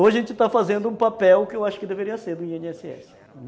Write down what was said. Hoje a gente está fazendo um papel que eu acho que deveria ser do i ene esse esse.